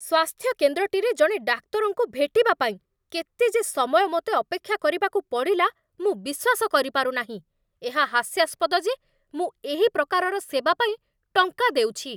ସ୍ୱାସ୍ଥ୍ୟ କେନ୍ଦ୍ରଟିରେ ଜଣେ ଡାକ୍ତରଙ୍କୁ ଭେଟିବା ପାଇଁ କେତେ ଯେ ସମୟ ମୋତେ ଅପେକ୍ଷା କରିବାକୁ ପଡ଼ିଲା, ମୁଁ ବିଶ୍ୱାସ କରିପାରୁନାହିଁ! ଏହା ହାସ୍ୟାସ୍ପଦ ଯେ ମୁଁ ଏହି ପ୍ରକାରର ସେବା ପାଇଁ ଟଙ୍କା ଦେଉଛି।